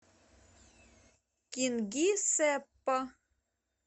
кингисеппа